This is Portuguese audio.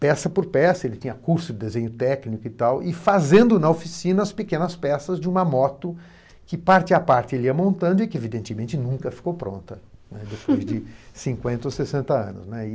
peça por peça, ele tinha curso de desenho técnico e tal, e fazendo na oficina as pequenas peças de uma moto que, parte a parte, ele ia montando e que, evidentemente, nunca ficou pronta, depois de cinquenta ou sessenta anos, né.